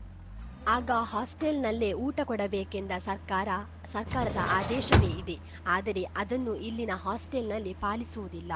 ಆಗ ಹಾಸ್ಟೆಲ್‌ನಲ್ಲೇ ಊಟ ಕೊಡಬೇಕೆಂದ ಸರ್ಕಾರ ಸರ್ಕಾರದ ಆದೇಶವೇ ಇದೆ ಆದರೆ ಅದನ್ನು ಇಲ್ಲಿನ ಹಾಸ್ಟೆಲ್‌ನಲ್ಲಿ ಪಾಲಿಸುವುದಿಲ್ಲ